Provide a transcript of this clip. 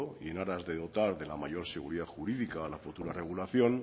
y en aras de dotar de la mayor seguridad jurídica a la futura regulación